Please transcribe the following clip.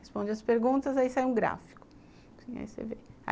Responde as perguntas, aí sai um gráfico. Aí você vê